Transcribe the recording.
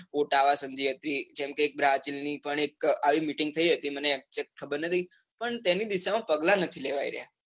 સંધિ હતી, જેમ કે brazil ની પણ એક આવી meeting થઇ હતી, મને exect ખબર નથી, પણ તેની દિશા માં પગલાં નથી લેવાય રહ્યા.